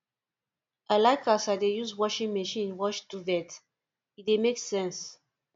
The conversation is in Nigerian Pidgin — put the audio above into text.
i like as i dey use washing machine wash duvet e dey make sense